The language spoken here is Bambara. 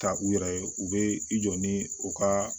Ka u yɛrɛ ye u bɛ i jɔ ni u ka